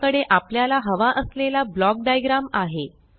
आपल्याकडे आपल्याला हवा असलेला ब्लॉक डाइग्राम आहे